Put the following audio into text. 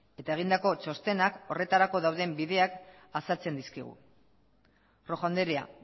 eta egindako txostenak horretarako dauden bideak azaltzen dizkigu rojo andrea